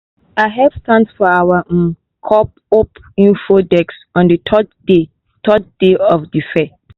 i help stand for our um co-op info desk on the third day third day of the fair.